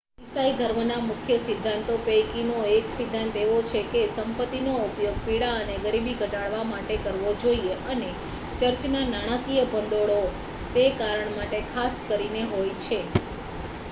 ઈસાઈ ધર્મના મુખ્ય સિદ્ધાંતો પૈકીનો એક સિદ્ધાંત એવો છે કે સંપતિનો ઉપયોગ પીડા અને ગરીબી ઘટાડવા માટે કરવો જોઈએ અને ચર્ચના નાણાકીય ભંડોળો તે કારણ માટે ખાસ કરીને હોય છે